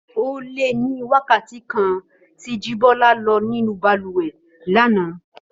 Ó lé ní wákàtí kan tí Jíbọ́lá lò nínú balùwẹ̀ lánàá